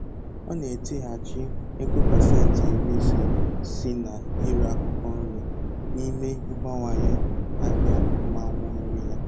Ọ na-etighachi ego pasenti iri ise si na ire akwụkwọ nri n'ime ibawanye ahịa mmanụ nri ya